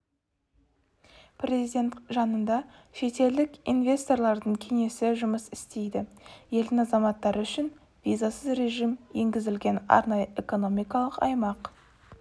президент жанында шетелдік инвесторлардың кеңесі жұмыс істейді елдің азаматтары үшін визасыз режім енгізілген арнайы экономикалық аймақ